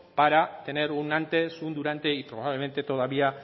para tener un antes un durante y probablemente todavía